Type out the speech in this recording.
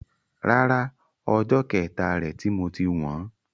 Rárá, ọjọ́ kẹta rè ti moti wọn.